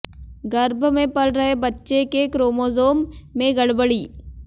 गर्भ में पल रहे बच्चे के क्रोमोसोम में गड़बड़ी